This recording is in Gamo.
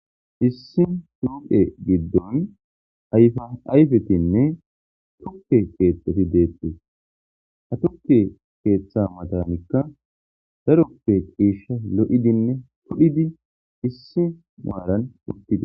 Issi phoqe gidon ayfa ayfetine tuke kethati detes ha tuke ketha matanika darope cishay pudhine lo'idi issi maran utides